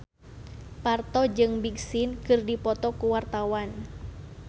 Parto jeung Big Sean keur dipoto ku wartawan